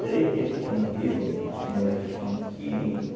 Três dias que tinha morrido um senhor aqui chamado Quirino.